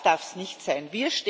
Das darf es nicht sein.